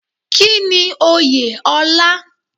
Kínni Oyè ọlá?